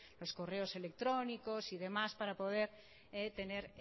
los correos electrónicos y demás para poder tener